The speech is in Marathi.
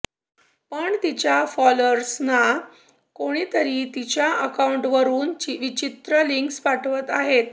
पण तिच्या फॉलोअर्सना कोणीतरी तिच्या अकाऊंटवरुन विचित्र लिंक्स पाठवत आहे